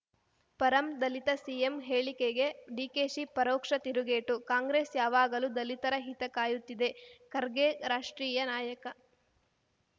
ಪರಂ Dalit CM ಹೇಳಿಕಗೆ ಡಿಕೆಶಿ ಪರೋಕ್ಷ ತಿರುಗೇಟು ಕಾಂಗ್ರೆಸ್‌ ಯಾವಾಗಲೂ ದಲಿತರ ಹಿತ ಕಾಯುತ್ತಿದೆ ಖರ್ಗೆ ರಾಷ್ಟ್ರೀಯ ನಾಯಕ